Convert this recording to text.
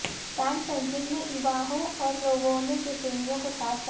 tan Cedric ने Ivanhoe और Rowena के प्रेमियों को ताज पहनाया